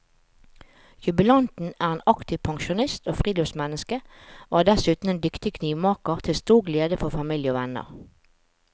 Jubilanten er en aktiv pensjonist og friluftsmenneske, og er dessuten en dyktig knivmaker til stor glede for familie og venner.